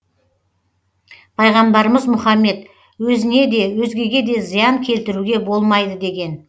пайғамбарымыз мұхаммед өзіне де өзгеге де зиян келтіруге болмайды деген